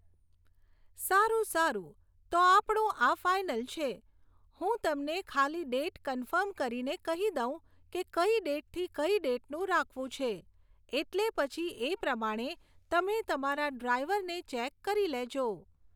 સારું સારું તો આપણું આ ફાઇનલ છે. હું તમને ખાલી ડેટ કન્ફર્મ કરીને કહી દઉં કે કઈ ડેટથી કઈ ડેટનું રાખવું છે, એટલે પછી એ પ્રમાણે તમે તમારા ડ્રાઇવરને ચૅક કરી લેજો.